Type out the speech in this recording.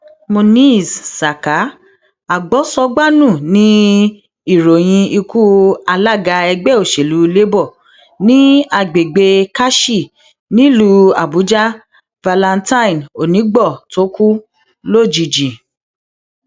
monèse saka agbósọgbànu ni ìròyìn ikú alága ẹgbẹ òsèlú labour ní agbègbè karshi nílùú àbújá valentine oníìgbọ tó kú lójijì